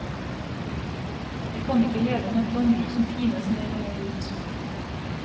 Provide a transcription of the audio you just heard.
Vi kan ikke leve med et landbruk som pines mer og mer ut.